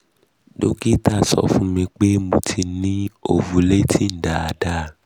dókítà sọ fún mi pé mo mo ti um ni ovulating daadaa